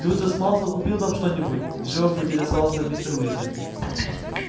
люциус малфой купил там что-нибудь живо поинтересовался мистер уизли